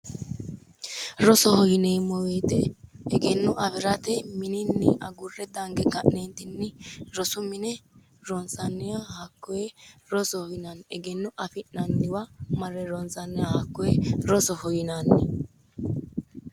Rosoho yineemo woyite egenno afirate Mininni agurre danige ka'neenitinni rosu mine ronisanniha hakkoye rosoho yinanni egenno afi'nanniwa marre ronisanniwa hakkoye rosoho yinanni